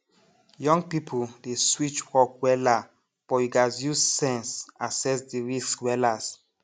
young people dey switch work wella but you gats use sense asses the risks wellas